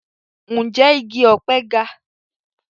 Ǹjẹ́ igi ọ̀pẹ ga?